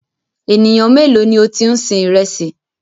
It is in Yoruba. Ènìyàn méèló ni o ti ń sin ìrẹsì?